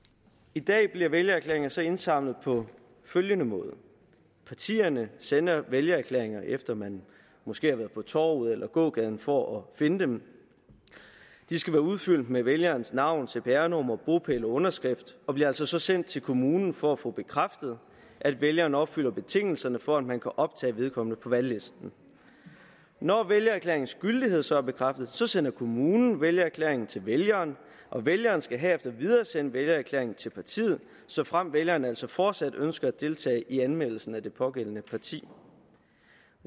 i dag bliver vælgererklæringer så indsamlet på følgende måde partierne sender vælgererklæringer efter man måske har været på torvet eller gågaden for at finde dem de skal være udfyldt med vælgerens navn cpr nummer bopæl og underskrift og bliver altså så sendt til kommunen for at få bekræftet at vælgerne opfylder betingelserne for at man kan optage vedkommende på valglisten når vælgererklæringens gyldighed så er bekræftet sender kommunen vælgererklæringen til vælgeren og vælgeren skal herefter videresende vælgererklæringen til partiet såfremt vælgeren altså fortsat ønsker at deltage i anmeldelsen af det pågældende parti